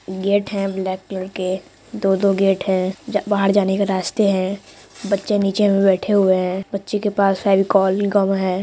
Gate है black colour के दो-दो गेट हैं जा-बाहर जाने के रास्ते हैं। बच्चे नीचे मे बैठे हुए है। बच्चे के पास फेविकोल गम है।